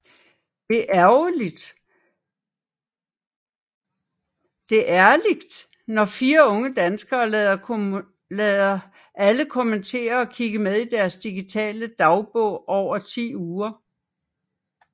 Det er ærligt når fire unge danskere lader alle kommentere og kigge med i deres digitale dagbog over ti uger